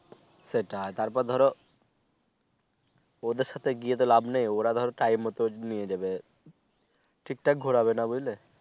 সেটা তার পর ধরো ওদের সাথে গিয়ে লাভ নেই ওরা ধরো time মত নিয়ে যাবে ঠিক ঠাক ঘুরাবে না বুঝলে